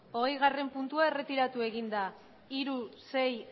hogeigarrena puntua erretiratu egin da hiru sei